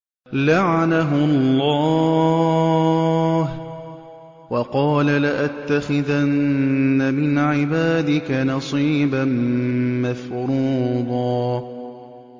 لَّعَنَهُ اللَّهُ ۘ وَقَالَ لَأَتَّخِذَنَّ مِنْ عِبَادِكَ نَصِيبًا مَّفْرُوضًا